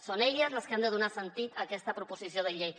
són elles les que han de donar sentit a aquesta proposició de llei